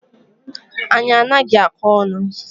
Anyi anaghi akọ onu